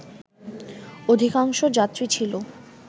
অধিকাংশ যাত্রী ছিল